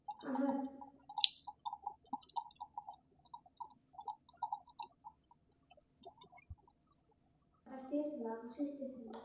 Hann hafði stirðnað og hrist höfuðið.